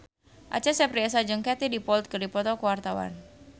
Acha Septriasa jeung Katie Dippold keur dipoto ku wartawan